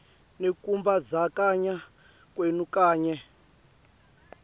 nekumbandzakanya kwenu kanye